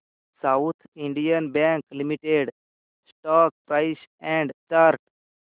south Indian Bank Limited stock price and chart